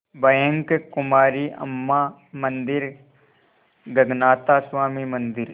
bank Kumari Amman मंदिर गगनाथा स्वामी मंदिर